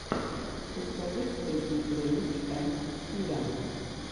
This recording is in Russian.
у тебя есть песня ленич энд киря